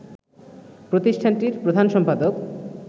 প্রতিষ্ঠানটির প্রধান সম্পাদক